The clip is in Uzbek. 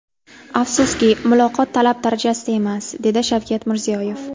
Afsuski, muloqot talab darajasida emas”, dedi Shavkat Mirziyoyev.